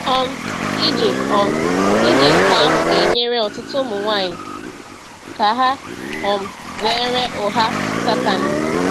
um Ije um Ije nke ahụ ga-enyere ọtụtụ ụmụ nwanyị ka ha um zere ụgha Satani.